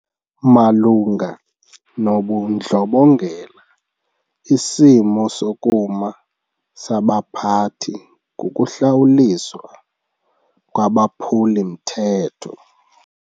Malunga nobundlobongela isimo sokuma sabaphathi kukuhlawuliswa kwabaphuli-mthetho.